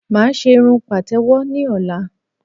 Mà á ṣé irun pàtẹ̀wọ́ ní ọ̀la